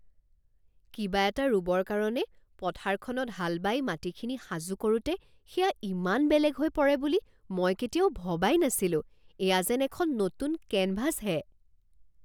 কিবা এটা ৰুবৰ কাৰণে পথাৰখনত হাল বাই মাটিখিনি সাজু কৰোঁতে সেয়া ইমান বেলেগ হৈ পৰে বুলি মই কেতিয়াও ভবাই নাছিলোঁ। এয়া যেন এখন নতুন কেনভাছহে!